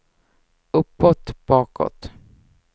uppåt bakåt